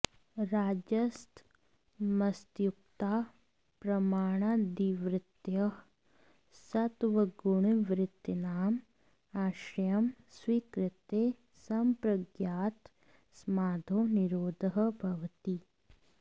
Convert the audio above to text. रजस्तमस्युक्ताः प्रमाणादिवृत्तयः सत्त्वगुणिवृत्तीनाम् आश्रयं स्वीकृत्य सम्प्रज्ञातसमाधौ निरोधः भवति